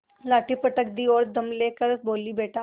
लाठी पटक दी और दम ले कर बोलीबेटा